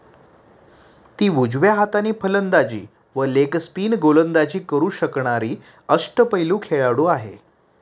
ती उजव्या हाताने फलंदाजी व लेगस्पिन गोलंदाजी करू शकणारी अष्टपैलू खेळाडू आहे.